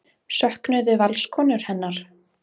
Söknuðu Valskonur hennar?